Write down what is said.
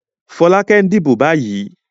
Fọ́lákẹ́ ń dìbò báyìí.